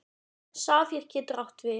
Safír getur átt við